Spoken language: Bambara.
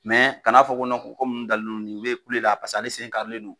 kana fɔ ko ko kɔmi nunnu dalen non nin ma kule la paseke ale sen karilen non